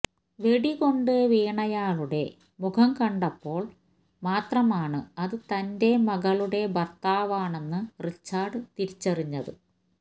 വെടികൊണ്ട് വീണയാളുടെ മുഖം കണ്ടപ്പോള് മാത്രമാണ് അത് തന്റെ മകളുടെ ഭര്ത്താവാണെന്ന് റിച്ചാര്ഡ് തിരിച്ചറിഞ്ഞത്